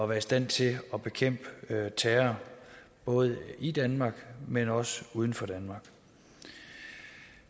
være i stand til at bekæmpe terror både i danmark men også uden for danmark